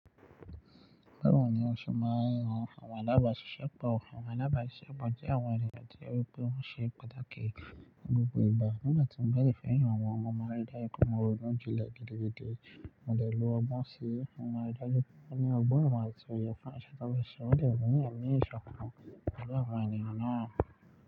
Bẹ́ẹ̀ni wọn sì máa ń rán àwọn alábàáṣiṣẹ́pọ̀. Àwọn alábàáṣiṣẹ́pọ̀ jẹ́ àwọn ènìyàn tí ó rí pé wọ́n ṣe pàtàkì ní gbogbo ìgbà. Nígbà tí mo bá dẹ̀ fẹ́ yan àwọn ọmọ marídá ikọ́mọrun ounjẹ ilẹ̀ gidi gidi, mo dẹ̀ lo ọgbọ́n sí mo máa ri dájú pé ní ọgbọ́n ìmọ̀ àti òye fún àṣà tó bẹ́ṣọ̀, mo dẹ̀ gbẹ̀yìn ẹ̀mí ìṣọ̀kan lẹ́gbẹ̀ẹ́ àwọn ènìyàn náà.